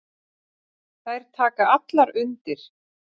Þær taka allar undir.